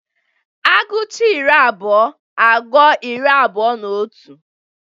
Aguchaa iri abụọ agụọ iri abụọ na otu.